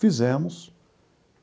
Fizemos.